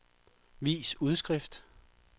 vis udskrift